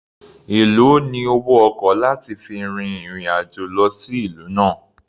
Èlòó ni owó ọkọ̀ láti fi fin ìrìn-àjò lọ sí ìlú náà?